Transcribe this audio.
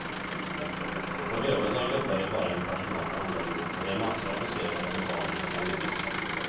På lördagar jobbar det bara en personal på anläggningen och det är massor av besökare med barn som springer runt.